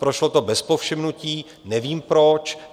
Prošlo to bez povšimnutí, nevím proč.